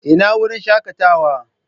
Ina wurin shakatawa?